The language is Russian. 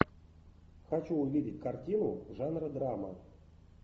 хочу увидеть картину жанра драма